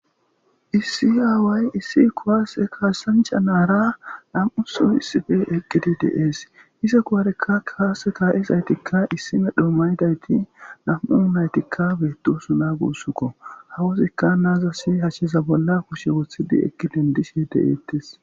issi aaway issi kuwaase kaassancha naara nam7uso issife eqqidi des ise kuwarekka kaase ka7izaytikka issime dhoomaydayti nam7u yunaytikka beettosu na gussuko hawuzikka naazasi hashshiza bolla kushe wothidi eqki dendishe de7eettes